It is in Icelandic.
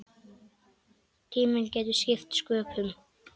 Tíminn getur skipt sköpum.